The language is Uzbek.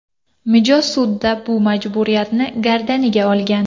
Mijoz sudda bu majburiyatni gardaniga olgan.